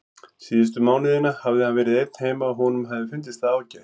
Síðustu mánuðina hafði hann verið einn heima og honum hafði fundist það ágætt.